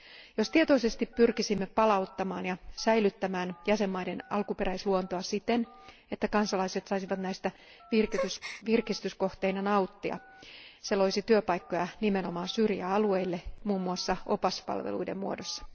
Jos tietoisesti pyrkisimme palauttamaan ja säilyttämään jäsenvaltioiden alkuperäisluontoa siten, että kansalaiset saisivat nauttia näistä virkistyskohteina, se loisi työpaikkoja nimenomaan syrjäalueille muun muassa opaspalveluiden muodossa.